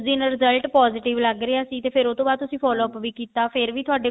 ਉਸ ਦਿਨ result positive ਲੱਗ ਰਿਹਾ ਤੇ ਫ਼ੇਰ ਉਹਤੋਂ ਬਾਅਦ ਤੁਸੀਂ follow up ਵੀ ਕੀਤਾ ਫ਼ੇਰ ਵੀ ਤੁਹਾਡੇ